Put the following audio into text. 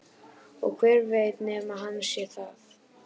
Og hver veit nema hann sé það?